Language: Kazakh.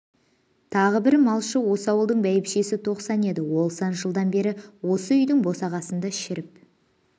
тағы бір малшы осы ауылдың биешісі тоқсан еді ол сан жылдан бері осы үйдің босағасында шіріп